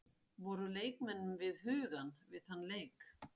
Voru leikmenn við hugann við þann leik?